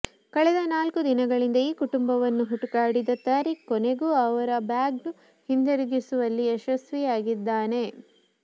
ಕಳೆದ ನಾಲ್ಕು ದಿನಗಳಿಂದ ಈ ಕುಟುಂಬವನ್ನು ಹುಡುಕಾಡಿದ ತರೀಖ್ ಕೊನೆಗೂ ಅವರ ಬ್ಯಾಗ್ನ್ನು ಹಿಂದಿರುಗಿಸುವಲ್ಲಿ ಯಶಸ್ವಿಯಾಗಿದ್ದಾನೆ